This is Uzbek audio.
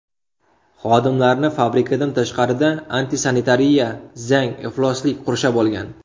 Xodimlarni fabrikadan tashqarida antisanitariya, zang, ifloslik qurshab olgan.